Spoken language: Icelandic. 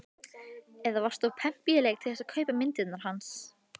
Eða varstu of pempíuleg til þess að kaupa myndirnar hans?